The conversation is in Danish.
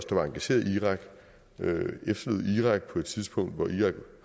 der var engageret i irak irak på et tidspunkt hvor irak